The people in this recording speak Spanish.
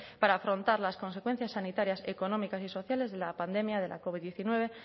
para afrontar las consecuencias sanitarias económicas y sociales de la pandemia de la covid diecinueve